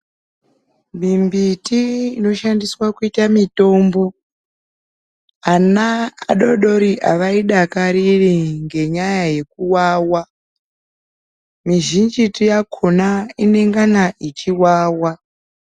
Mimbiti inoshandiswa kuita mitombo, ana adori-dori havaidakariri ngenyaya yekuwawa. Mizhinjitu yakona inengana ichiwawa.